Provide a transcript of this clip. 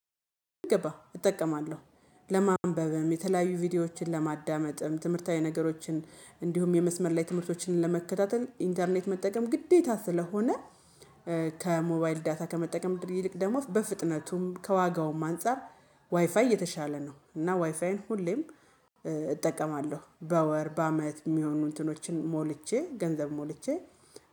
ገባህ እጠቀማለሁ። ለማንበብም የተለያዩ ቪዲዮዎችን ለማዳመጥም ትምህርታዊ ነገሮችን እንዲሁም የመስመር ላይ ትምህርቶችን ለመከታተል ኢንተርኔት መጠቀም ግዴታ ስለሆነ ከሞባይል ዳታ ከመጠቀም ድር ይልቅ ደግሞ በፍጥነቱም ከዋጋውም አንፃር ዋይፋይ የተሻለ ነው። እና ዋይፋይን ሁሌም እጠቀማለሁ በወር በአመት የሚሆኑ እንትኖችን ሞልቼ ገንዘብ ሞልቼ